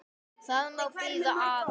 Það má bíða aðeins.